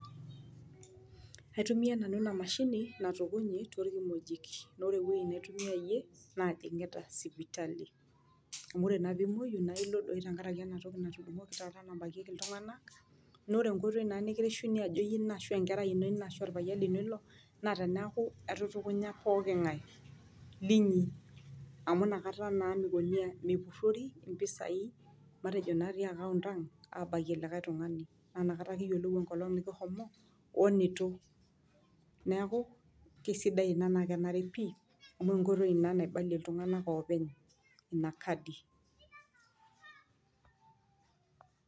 Aitumia nanu ena mashini natukunyi toorkimojik naa ore ewuei naitumiayie naa ajingita sipitali . Amu ore naa pimwoyu naa ilo doi tenkaraki enatoki oshi taata nabakieki iltunganak . Naa ore nkoitoi nikirishuni ajo enkerai ino ashu iyie ina , korpayian lino ilo naa teniaaku etutukunya pooki ngae linyi . Amu inakata naa meikoni aa , mepurori impisai , matejo natii account ang abakie likae tungani. Naa inakata kiyiolou enkolong nikihomo, wenitu .Neeku kisidai ina naa kenare pi ,amu enkoitoi ina naibalie iltunganak openy ina kadi.